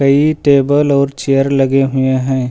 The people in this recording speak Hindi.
टेबल और चेयर लगे हुए हैं।